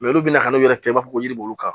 olu bɛna kan'o yɛrɛ kɛ i b'a fɔ ko yiri bɔr'u kan